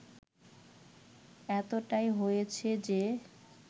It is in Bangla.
এতটাই হয়েছে যে